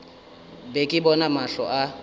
be ke bona mahlo a